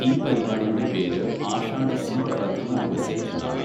ഈ പരിപാടിയുടെ പേര് ആഷാഢസ്യപ്രഥമദിവസേ എന്നാണ്.